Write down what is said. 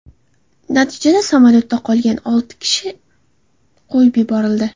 Natijada samolyotda qolgan olti kishi qo‘yib yuborildi.